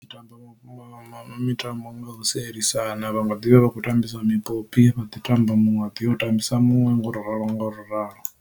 U tamba mitambo nga u sielisana vha nga ḓivha vha kho tambisa mipopi vha ḓi tamba muṅwe a ḓiya u ṱambisa muṅwe nga u ralo nga u ralo.